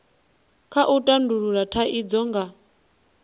kha u tandulula thaidzo nga